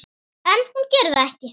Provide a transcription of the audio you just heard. En hún gerir það ekki.